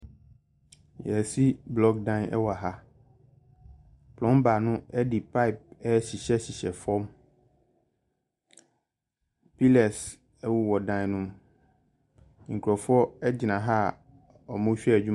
Y'asi blɔk dan ɛwɔ ha. Plɔmba no ɛde payp ɛrehyehyɛ hyehyɛ fam. Pilɛs ɛwowɔ dan no mu. Nkurofoɔ ɛgyina ha a wɔn rehwɛ adwuma no.